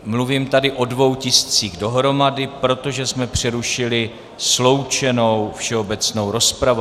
Mluvím tady o dvou tiscích dohromady, protože jsme přerušili sloučenou všeobecnou rozpravu.